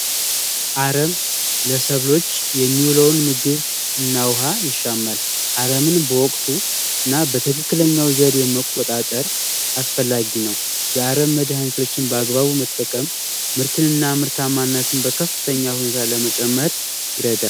አረም ለሰብሎች የሚውለውን ምግብ ነው ውሃ ይሻላል ምንም በወቅቱና በትክክለኛው ዘዴ መቆጣጠር አስፈላጊ ነው የአረም መድሀኒቶችን በአግባቡ መጠቀም ምርትነ ምርታማነትን በከፍተኛ ሁኔታ ለመጨመር ይረዳል